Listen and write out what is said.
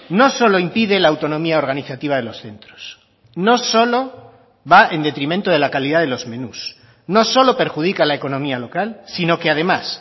no solo impide la autonomía organizativa de los centros no solo va en detrimento de la calidad de los menús no solo perjudica a la economía local sino que además